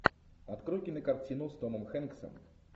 открой кинокартину с томом хэнксом